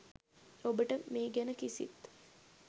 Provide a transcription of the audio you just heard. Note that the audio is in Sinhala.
ඔබට මේ ගැන කිසිත්